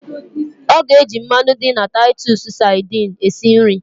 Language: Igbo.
Ọ ga-ejị mmanụ dị na tatụsụ sadini esi nri